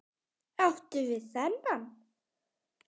Áttu við þennan?